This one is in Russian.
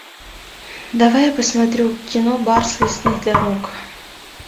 давай я посмотрю кино барс лесных дорог